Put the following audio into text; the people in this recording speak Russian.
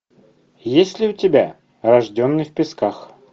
есть ли у тебя рожденный в песках